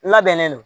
Labɛnnen don